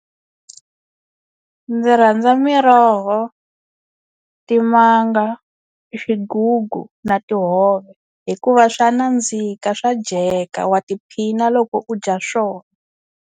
Ndzi rhandza miroho timanga xigugu na tihove hikuva swa nandzika swa dyeka wa tiphina loko u dya swona.